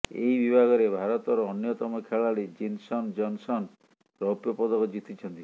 ଏହି ବିଭାଗରେ ଭାରତର ଅନ୍ୟତମ ଖେଳାଳି ଜିନସନ ଜନସନ ରୌପ୍ୟ ପଦକ ଜିତିଛନ୍ତି